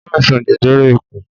O ní àìsàn jẹjẹrẹ ikùn